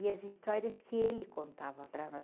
E as histórias que ele contava para nós.